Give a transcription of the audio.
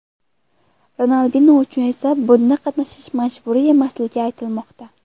Ronaldinyo uchun esa bunda qatnashish majburiy emasligi aytilmoqda.